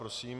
Prosím.